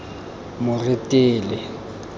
moretele